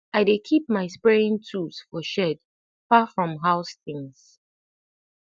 i dey keep my spraying tools for shed far from house things